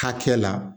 Hakɛ la